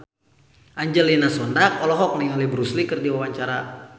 Angelina Sondakh olohok ningali Bruce Lee keur diwawancara